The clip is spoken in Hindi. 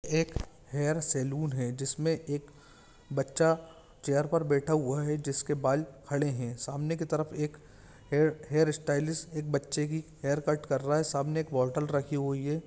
एक हेयर सैलून है जिसमे एक बच्चा चेयर पर बैठा हुआ हैजिसके बाल खड़े है सामने की तरफ एक हेयर स्टायलिस एक बच्चे की हेयर कट कर रहा है सामने एक बॉटल रखी हुई है।